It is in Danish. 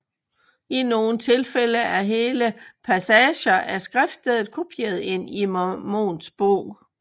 I nogle tilfælde er hele passager af skriftsteder kopieret ind i Mormons Bog